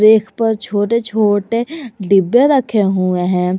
एक पर छोटे छोटे डिब्बे रखे हुए हैं।